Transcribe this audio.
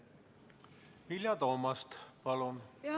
Vilja Toomast, palun!